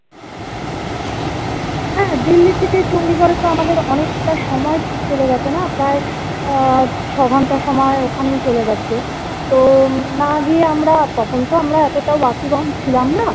হ্যা delhi থেকে chandigarh এ তো আমাদের অনেকটা সময় চলে যাবে না? প্রায় আহ ছ ঘন্টা সময় ওখানেই চলে যাচ্ছে তো না গিয়ে আমরা তখন তো আমরা এতটাও ছিলাম না